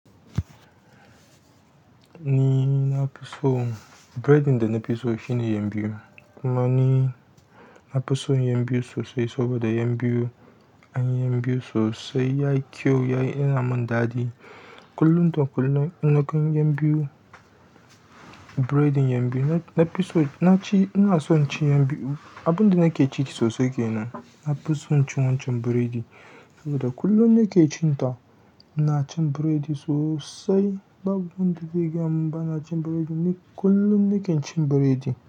Ni na fi so, biredin da na fi so shine ƴan biyu. Amma ni na fi so ƴan biyu sosai saboda ƴan biyu, ƴan biyu sosai yayi kyau, yana mun daɗi. Kullum da kullum inna gan ƴan biyu, breading ƴan biyu na fi so, na ci, ina son ci ƴan biyu. Abin da nake ciki sosai ke nan, na fi son cin wancan biredi saboda kullum nake cin ta, na cin breading sosai. Babu wanda zai gayamin bana cin biredi ni kullum nake cin breading.